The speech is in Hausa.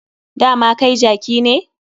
Dama kai jaki ne.